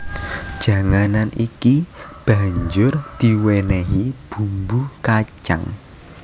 Janganan iki banjur diwènèhi bumbu kacang